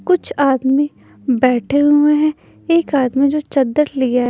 कुछ आदमी बैठे हुए हैं एक आदमी जो चद्दर लिया है।